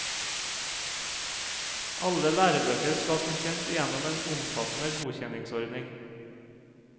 Alle lærebøker skal som kjent igjennom en omfattende godkjenningsordning.